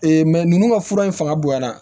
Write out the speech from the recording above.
ninnu ka fura in fanga bonyana